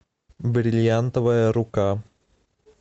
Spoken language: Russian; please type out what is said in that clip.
бриллиантовая рука